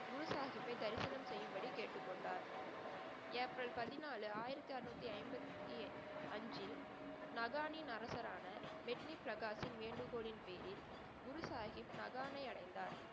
குரு சாஹிப்பை தரிசனம் செய்யும்படி கேட்டுக்கொண்டார். ஏப்ரல் பதிநாலு ஆயிரத்து அறநூத்தி ஐம்பத்தி அஞ்சில், மகானின் அரசரான மிட்னிப் பிரகாஷும் வேண்டுகோளின் பேரில் குரு சாஹிப் மகானை அடைந்தார்.